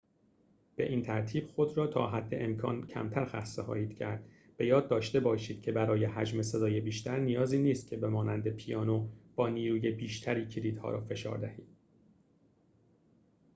به این ترتیب خود را تا حد امکان کمتر خسته خواهید کرد به یاد داشته باشید که برای حجم صدای بیشتر نیازی نیست به مانند پیانو با نیروی بیشتری کلیدها را فشار دهید